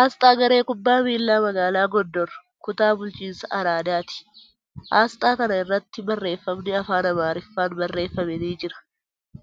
Aasxaa garee kubbaa miilaa magaalaa Goondar, kutaa bulchiinsa Araadati. Aasxaa kana irratti barreeffamni afaan Amaariffaan barreeffame ni jira.